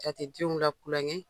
A tɛ denw latulon kɛ .